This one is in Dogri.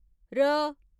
र